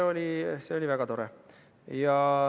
See oli väga tore.